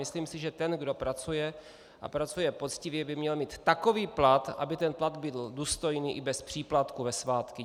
Myslím si, že ten, kdo pracuje a pracuje poctivě, by měl mít takový plat, aby ten plat byl důstojný i bez příplatků ve svátky.